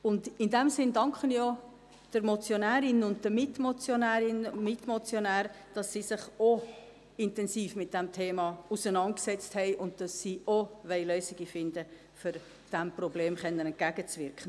In diesem Sinn danke ich auch der Motionärin sowie den Mitmotionärinnen und Mitmotionären, dass sie sich auch intensiv mit diesem Thema auseinandergesetzt haben und dass sie auch Lösungen finden wollen, um diesem Problem entgegenwirken zu können.